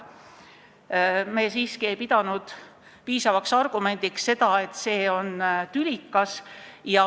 Me siiski ei pidanud piisavaks argumendiks seda, et see on tülikas.